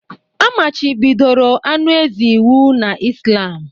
A machibidoro anụ ezi iwu na Islam